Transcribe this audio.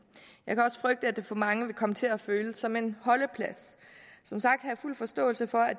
jeg kan frygte at det for mange vil komme til at føles som en holdeplads som sagt har jeg fuld forståelse for at